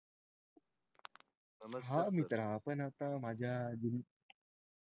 हा मित्रा आपण आता माझ्या अं